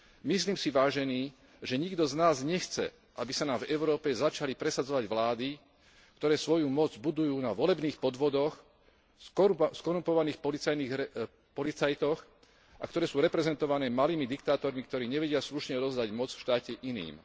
Myslím si, vážení, že nikto z nás nechce, aby sa nám v Európe začali presadzovať vlády, ktoré svoju moc budujú na volebných podvodoch, skorumpovaných policajtoch a ktoré sú reprezentované malými diktátormi, ktorí nevedia slušne odovzdať moc v štáte iným.